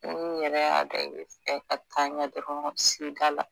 Ne yɛrɛ dɔn i bɛ fɛ ka taa ɲɛ dɔrɔn s'i da la